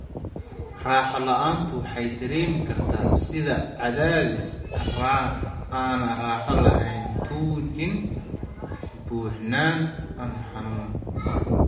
Raaxo la'aantu waxay dareemi kartaa sida cadaadis aan raaxo lahayn, tuujin, buuxnaan, ama xanuun.